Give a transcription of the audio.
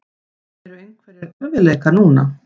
Eru einhverjir erfiðleikar núna?